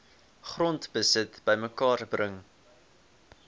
grondbesit bymekaar bring